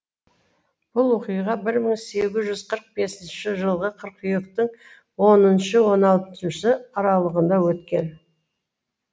бұл оқиға бір мың сегіз жүз қырық бесінші жылғы қыркүйектің оныншы он алтыншы аралығында өткен